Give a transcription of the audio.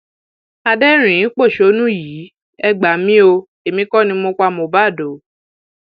adẹrìnínpọṣónú yìí ẹ gbà mí o èmi kò ní mo pa mohbad o